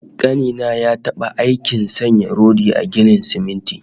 Ƙani na ya taɓa aikin sanya rodi a ginin siminti